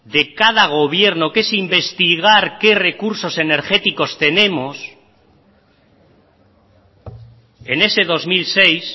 de cada gobierno que es investigar qué recursos energéticos tenemos en ese dos mil seis